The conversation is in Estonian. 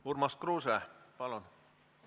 Urmas Kruuse, palun!